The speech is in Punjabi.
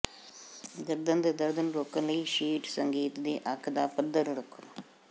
ਗਰਦਨ ਦੇ ਦਰਦ ਨੂੰ ਰੋਕਣ ਲਈ ਸ਼ੀਟ ਸੰਗੀਤ ਦੀ ਅੱਖ ਦਾ ਪੱਧਰ ਰੱਖੋ